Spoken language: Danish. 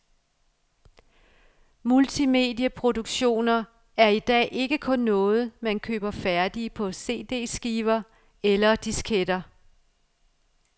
Multimedieproduktioner er i dag ikke kun noget, man køber færdige på cdskiver eller disketter.